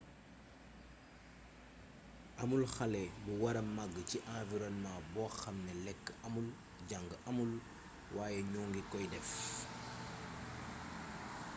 amul xale bu wara mag ci environnement bo xamne lek amul jang amul way ñu ngi koy def